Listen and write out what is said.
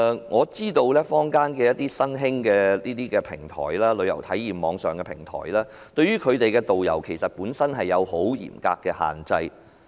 我知道坊間一些新興的旅遊體驗網上平台，對其導遊有很嚴格的要求。